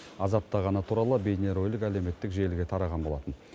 азаптағаны туралы бейнеролик әлеуметтік желіге тараған болатын